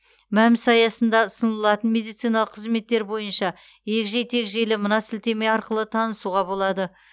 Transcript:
мәмс аясында ұсынылатын медициналық қызметтер бойынша егжей тегжейлі мына сілтеме арқылы танысуға болады